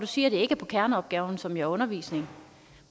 siger at det ikke er på kerneopgaven som jo er undervisning